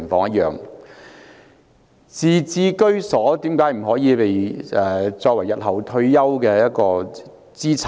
為何自置居所不可作為日後退休的資產？